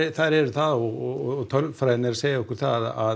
þær eru það og tölfræðin er að segja okkur það að